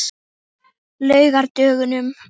laugardögunum